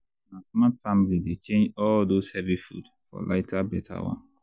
na smart family dey change all those heavy food for lighter better one.